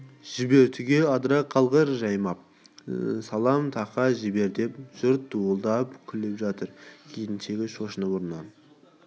жібер түге адыра қалғыр жайпап салам тақа жібер деп жұрт дуылдап күліп жатыр келіншегі шошынып орнынан